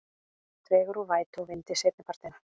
Dregur úr vætu og vindi seinnipartinn